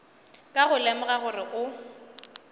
ka go lemoga gore o